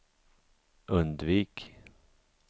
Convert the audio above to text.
undvik